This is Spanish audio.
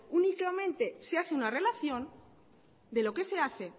únicamente se hace una relación de lo que se hace